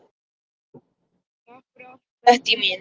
Takk fyrir allt, Bettý mín.